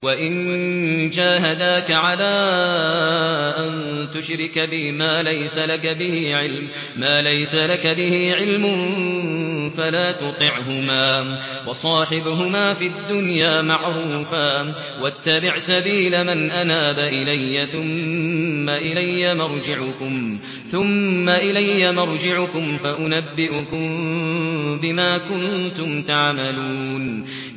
وَإِن جَاهَدَاكَ عَلَىٰ أَن تُشْرِكَ بِي مَا لَيْسَ لَكَ بِهِ عِلْمٌ فَلَا تُطِعْهُمَا ۖ وَصَاحِبْهُمَا فِي الدُّنْيَا مَعْرُوفًا ۖ وَاتَّبِعْ سَبِيلَ مَنْ أَنَابَ إِلَيَّ ۚ ثُمَّ إِلَيَّ مَرْجِعُكُمْ فَأُنَبِّئُكُم بِمَا كُنتُمْ تَعْمَلُونَ